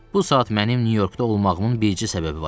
Bu saat mənim Nyu-Yorkda olmağımın bircə səbəbi var.